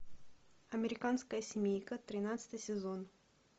американская семейка тринадцатый сезон